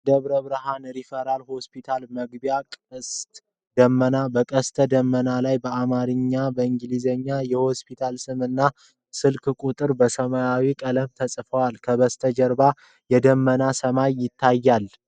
የደብረብርሃን ሪፈራል ሆስፒታልን መግቢያ ቅስተ ደመና። በቀስተ ደመናው ላይ በአማርኛና በእንግሊዝኛ የሆስፒታሉ ስም እና የስልክ ቁጥሮች በሰማያዊ ቀለም ተጽፈዋል። ከበስተጀርባ የደመናማ ሰማይ ይታያል።